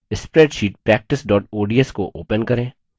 spreadsheet practice ods को open करें